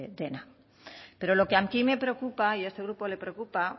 dela pero lo que aquí me preocupa y a este grupo le preocupa